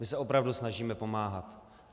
My se opravdu snažíme pomáhat.